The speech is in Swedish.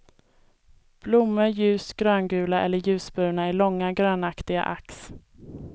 Blommor ljust gröngula eller ljusbruna i långa grönaktiga ax.